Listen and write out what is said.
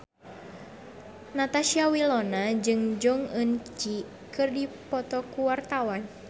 Natasha Wilona jeung Jong Eun Ji keur dipoto ku wartawan